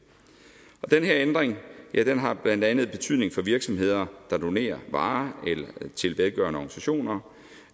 det her ændring har blandt andet betydning for virksomheder der donerer varer til velgørende organisationer